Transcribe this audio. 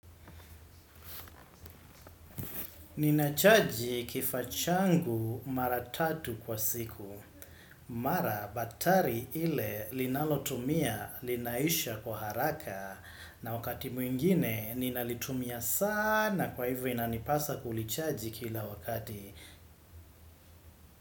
Ninachaji kifaa changu mara tatu kwa siku. Mara betri ile linalotumia linaisha kwa haraka na wakati mwingine ninalitumia sana kwa hivyo inanipasa kulichaji kila wakati.